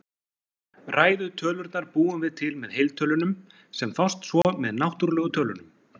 Ræðu tölurnar búum við til með heiltölunum, sem fást svo með náttúrlegu tölunum.